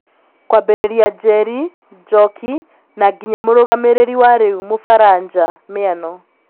Kwambĩrĩria Njeri, Njoki na nginya mũrũgamĩriri wa rĩu mũfaranja Miano.